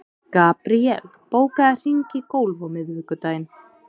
Gabríel, bókaðu hring í golf á miðvikudaginn.